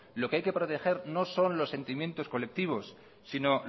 lo que hay que proteger no son los sentimientos colectivos sino